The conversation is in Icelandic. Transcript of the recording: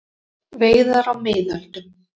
Veiðar á miðöldum.